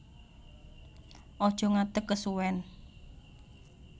Aja ngadeg kesuwèn